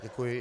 Děkuji.